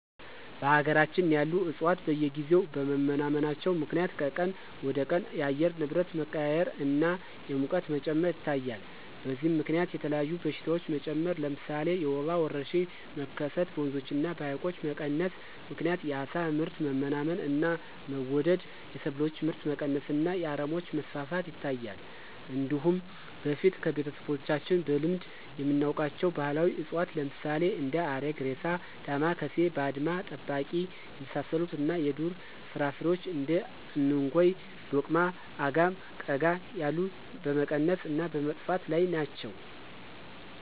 በሀገራችን ያሉ ዕፅዋት በየጊዜው በመመናመናቸው ምክንያት ከቀን ወደቀን የአየር ንብረት መቀያየር እና የሙቀት መጨመር ይታያል። በዚህም ምከንያት የተለያዩ በሽታዎች መጨመር ለምሳሌ የወባ ወረርሽኝ መከሰት፣ በወንዞች እና በሀይቆች መቀነስ ምክንያት የአሳ ምርት መመናመን እና መወደድ፣ የሰብሎች ምርት መቀነስ እና የአረሞች መስፋፋት ይታያል። እንዲሁም በፊት ከቤተሰቦቻችን በልምድ የምናውቃቸው ባህላዊ እፅዋት ለምሳሌ እንደ አረግሬሳ፣ ዳማካሴ፣ ባድማ ጠባቂ የመሳሰሉት እና የዱር ፍራፍሬዎች እንደ እንኮይ፣ ዶቅማ፣ አጋም፣ ቀጋ ያሉት በመቀነስ እና በመጥፋት ላይ ናቸው።